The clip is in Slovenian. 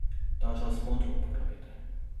Ta čas modro uporabite.